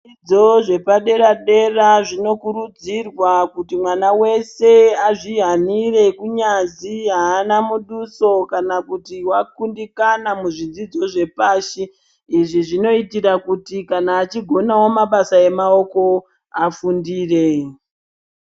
Zvidzidzo zvepadera dera zvino kurudzirwa kuti mwana wese azvi hanire kunyazi haana muduso kana kuti wa kundikana mu zvidzidzo zve pashi izvi zvinoitira kuti kana achigonawo mabasa amaoko afundire.